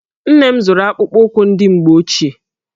Nne m zụrụ akpụkpọụkwụ ndị mgbe ochie.